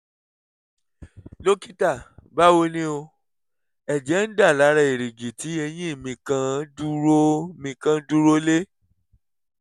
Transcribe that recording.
dọ́kítà báwo ni o? ẹ̀jẹ̀ ń dà lára èrìgì tí eyín mi kan dúró mi kan dúró lé